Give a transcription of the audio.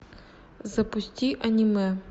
запусти аниме